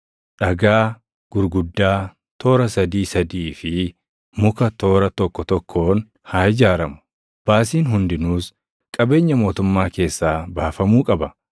dhagaa gurguddaa toora sadii sadii fi muka toora tokko tokkoon haa ijaaramu. Baasiin hundinuus qabeenya mootummaa keessaa baafamuu qaba.